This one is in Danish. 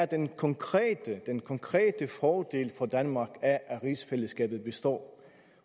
den konkrete den konkrete fordel for danmark af at rigsfællesskabet består